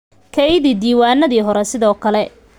Keydi diiwaanadii hore sidoo kale.